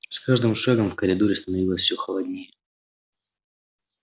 с каждым шагом в коридоре становилось все холоднее